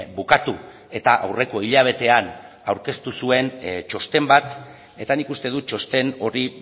bukatu eta aurreko hilabetean aurkeztu zuen txosten bat eta nik uste dut txosten hori